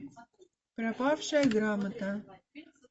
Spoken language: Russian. пропавшая грамота